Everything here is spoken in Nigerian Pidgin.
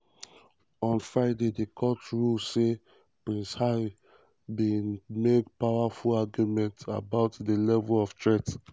um on friday di court rule say um prince harry bin make "powerful" arguments about di level of threat